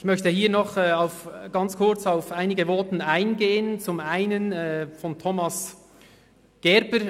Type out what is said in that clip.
Ich möchte noch kurz auf einige Voten eingehen, zuerst auf dasjenige von Grossrat Thomas Gerber.